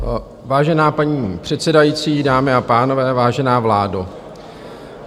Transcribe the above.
Vážená paní předsedající, dámy a pánové, vážená vládo.